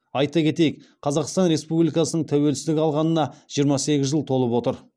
айта кетейік қазақстан республикасының тәуелсіздік алғанына жиырма сегіз жыл толып отыр